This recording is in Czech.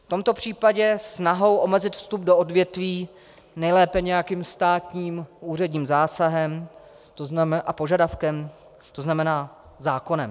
V tomto případě snahou omezit vstup do odvětví, nejlépe nějakým státním úředním zásahem a požadavkem, to znamená zákonem.